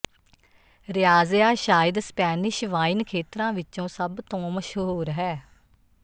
Rioja ਸ਼ਾਇਦ Spanish wine ਖੇਤਰਾਂ ਵਿੱਚੋਂ ਸਭ ਤੋਂ ਮਸ਼ਹੂਰ ਹੈ